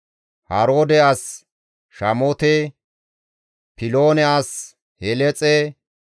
Haroode as Shaamote, Piloone as Heleexe,